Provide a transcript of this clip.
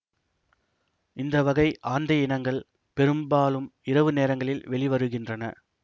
இந்த வகை ஆந்தை இனங்கள் பெரும்பாலும் இரவு நேரங்களில் வெளிவருகின்றன